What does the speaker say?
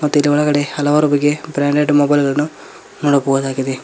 ಮತ್ತು ಇಲ್ಲಿ ಒಳಗಡೆ ಹಲವಾರು ಬಗೆಯ ಬ್ರಾಂಡೆಡ್ ಮೊಬೈಲ್ ಗಳನ್ನು ನೋಡಬಹುದಾಗಿದೆ.